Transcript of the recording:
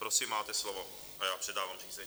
Prosím, máte slovo a já předávám řízení.